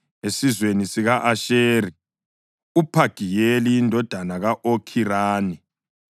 esizweni sika-Asheri, uPhagiyeli indodana ka-Okhirani;